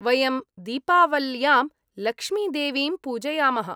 वयं दीपावल्यां लक्ष्मीदेवीं पूजयामः।